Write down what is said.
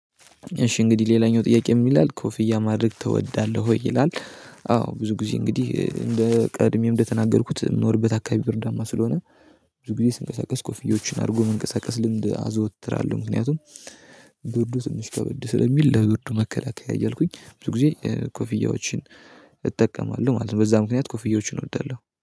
እሺ እንግዲህ ሌላኛው ጥያቄ ምን ይላል ኮፍያ ማድረግ ትወዳለህ ወይ ይላል? አዎ ብዙ ጊዜ እንግዲህ እንደ ቀድሜም እንደተናገርኩት የምኖርበት አካባቢ ብርዳማ ስለሆነ ብዙ ጊዜ ስንቀሳቀስ ኮፍዬዎችን አድርጎ መንቀሳቀስ ልምድ አዘወትራለሁ። ምክንያቱም ብርዱ ትንሽ ከበድ ስለሚል ለብርዱ መከላከያ እያልኩኝ ብዙ ጊዜ ኮፍያዎችን እጠቀማለሁ ማለት ነው። በዛ ምክንያት ኮፍዬዎችን እወዳለሁ